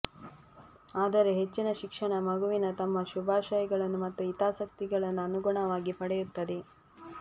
ಆದರೆ ಹೆಚ್ಚಿನ ಶಿಕ್ಷಣ ಮಗುವಿನ ತಮ್ಮ ಶುಭಾಶಯಗಳನ್ನು ಮತ್ತು ಹಿತಾಸಕ್ತಿಗಳನ್ನು ಅನುಗುಣವಾಗಿ ಪಡೆಯುತ್ತದೆ